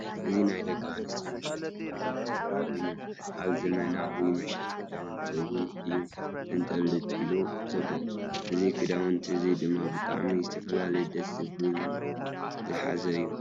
እዚ ናይ ደቂ ኣነስትዮ መሸጢ ክዳውንቲ ኮይኑ ኣብ ዘመናዊ መሸጢ ክዳውንቲ እውን እዩ ተንጠልጢሉ ዘሎ። እዚ ክዳውንቲ እዚ ድማ ብጣዕሚ ዝተፈላለዩ ደስ ዝብ ሉ ዝሓዘ እዩ።